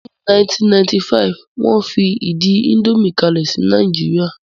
Ní 1995,ni wón fi ìdí indomie kalẹ̀ sí Nàìjíríà